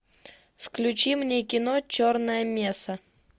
включи мне кино черная месса